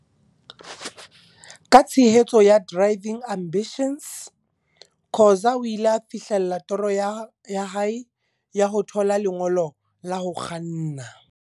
Ka tshehetso ya Driving Ambitions, Khoza o ile a fihlella toro ya hae ya ho thola lengolo la ho kganna.